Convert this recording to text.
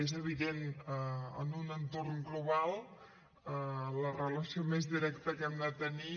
és evident en un entorn global la relació més directa que hem de tenir